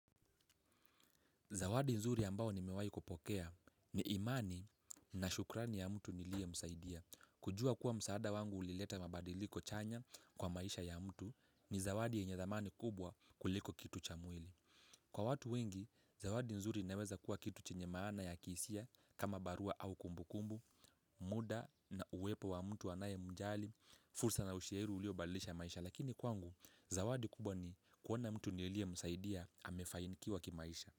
Zawadi nzuri ambayo nimewahi kupokea ni imani na shukrani ya mtu niliyemsaidia. Kujua kuwa msaada wangu ulileta mabadiliko chanya kwa maisha ya mtu ni zawadi yenye thamani kubwa kuliko kitu cha mwili. Kwa watu wengi, zawadi nzuri inaweza kuwa kitu chenye maana ya kihisia kama barua au kumbukumbu, muda na uwepo wa mtu anayemjali, fursa na ushairi uliobadilisha maisha. Lakini kwangu, zawadi kubwa ni kuona mtu nilie msaidia amefanikiwa kimaisha.